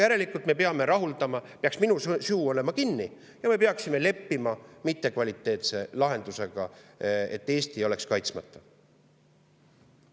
Järelikult peaks minu suu olema kinni ja me peaksime leppima mittekvaliteetse lahendusega, et Eesti oleks kaitsmata.